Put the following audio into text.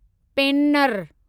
पेननर